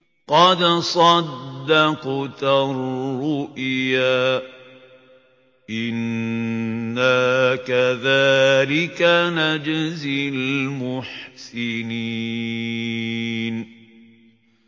قَدْ صَدَّقْتَ الرُّؤْيَا ۚ إِنَّا كَذَٰلِكَ نَجْزِي الْمُحْسِنِينَ